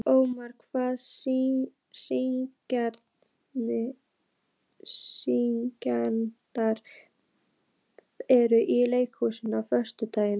Ómar, hvaða sýningar eru í leikhúsinu á föstudaginn?